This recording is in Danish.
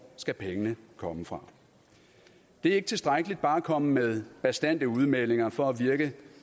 skal pengene komme fra det er ikke tilstrækkeligt bare at komme med bastante udmeldinger for at virke